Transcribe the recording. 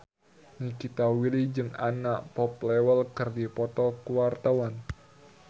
Nikita Willy jeung Anna Popplewell keur dipoto ku wartawan